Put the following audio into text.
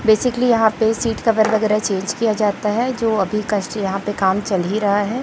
Basically यहां पे seat cover वगैरह चेंज किया जाता है जो अभी कस यहां पे काम चल ही रहा है।